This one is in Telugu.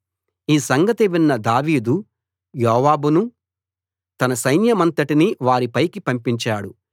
ఈ సంగతి విన్న దావీదు యోవాబును తన సైన్యమంతటినీ వారి పైకి పంపించాడు